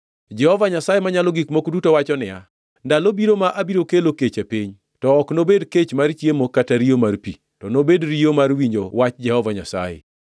Jehova Nyasaye Manyalo Gik Moko Duto wacho niya, “Ndalo biro ma abiro kelo kech e piny, to ok nobed kech mar chiemo, kata riyo mar pi, to nobed riyo mar winjo wach Jehova Nyasaye.